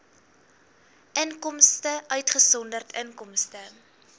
inkomste uitgesonderd inkomste